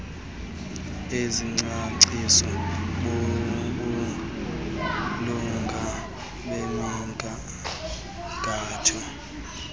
ezicaciswa bubulunga bemigangatho